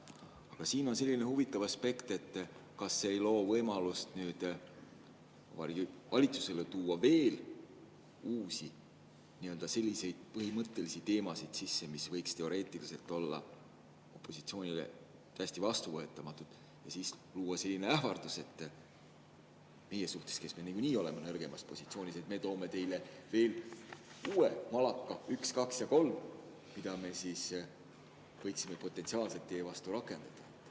Aga siin on selline huvitav aspekt, et see võib luua Vabariigi Valitsusele võimaluse tuua sisse veel uusi, põhimõttelisi teemasid, mis võiks teoreetiliselt olla opositsioonile täiesti vastuvõetamatud, ja siis luua sellise ähvarduse meie suhtes, kes me niikuinii oleme nõrgemas positsioonis: "Me toome teile veel uue malaka, üks, kaks ja kolm, mida me siis võiksime potentsiaalselt teie vastu rakendada.